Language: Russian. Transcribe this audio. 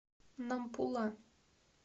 нампула